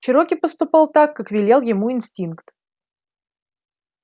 чероки поступал так как велел ему инстинкт